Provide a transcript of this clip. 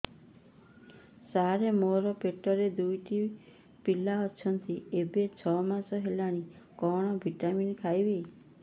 ସାର ମୋର ପେଟରେ ଦୁଇଟି ପିଲା ଅଛନ୍ତି ଏବେ ଛଅ ମାସ ହେଇଛି କଣ ଭିଟାମିନ ଖାଇବି